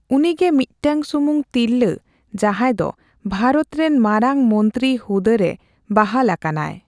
ᱩᱱᱤᱜᱮ ᱢᱤᱫᱴᱟᱝ ᱥᱩᱢᱩᱝ ᱛᱤᱨᱞᱟᱹ ᱡᱟᱦᱟᱸᱭ ᱫᱚ ᱵᱷᱟᱨᱚᱛ ᱨᱮᱱ ᱢᱟᱨᱟᱝ ᱢᱚᱱᱛᱨᱤ ᱦᱩᱫᱟᱹ ᱨᱮ ᱵᱟᱦᱟᱞ ᱟᱠᱟᱱᱟᱭ ᱾